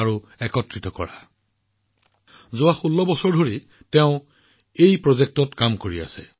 তেওঁ বিগত ১৬ বছৰ ধৰি এই প্ৰকল্পত কাম কৰি আহিছে